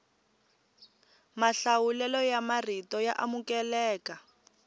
mahlawulelo ya marito ya amukeleka